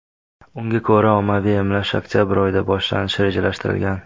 Unga ko‘ra, ommaviy emlash oktabr oyida boshlanishi rejalashtirilgan.